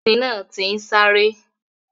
Ẹṣin náà ti ń sáré.